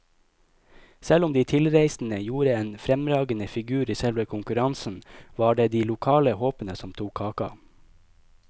Selv om de tilreisende gjorde en fremragende figur i selve konkurransen, var det de lokale håpene som tok kaka.